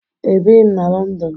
Ebighi m na Lọndọn